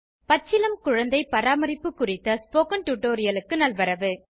பச்சிளம் குழந்தை பராமரிப்பு குறித்த ஸ்போகன் டுடோரியலுக்கு நல்வரவு